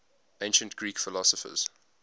ancient greek philosophers